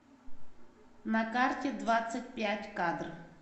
на карте двадцать пять кадр